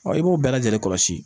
Ɔ i b'o bɛɛ lajɛlen kɔlɔsi